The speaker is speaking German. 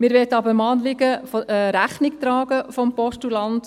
Wir möchten dem Anliegen des Postulanten aber Rechnung tragen.